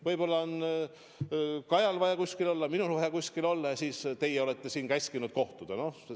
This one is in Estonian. Võib-olla on Kajal vaja kuskil mujal olla, minul vaja kuskil mujal olla, aga teie olete käskinud siin kohtuda.